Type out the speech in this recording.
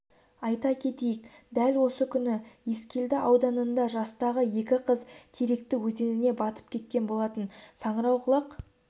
айта кетейік дәл осы күні ескелді ауданында жастағы екі қыз теректі өзеніне батып кеткен болатын саңырауқұлақ